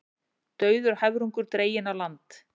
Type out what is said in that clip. Dauður höfrungur dreginn á land